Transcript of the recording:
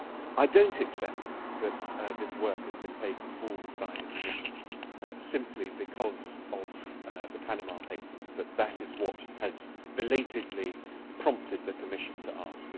I do not accept that this work has been taken forward by the Commission simply because of the Panama Papers and that that is what has belatedly prompted the Commission to ask.